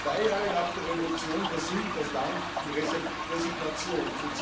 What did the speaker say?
Zwei Jahre nach der Revolution versinkt das Land in Resignation.